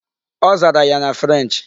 Ọ zara ya na French.